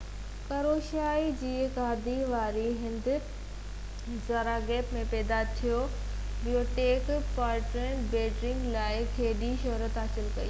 Croatia جي گادي واري هنڌ زاگريب ۾ پيدا ٿيو بوبيڪ پارٽيزن بيلگريڊ لاءَ کيڏي شهرت حاصل ڪئي